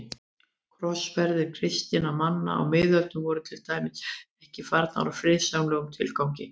Krossferðir kristinna manna á miðöldum voru til dæmis ekki farnar í friðsamlegum tilgangi.